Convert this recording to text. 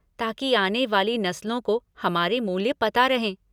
ताकि आने वाली नस्लों को हमारे मूल्य पता रहें।